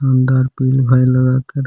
अंदर लगाकर --